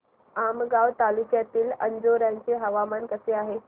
आमगाव तालुक्यातील अंजोर्याचे हवामान कसे आहे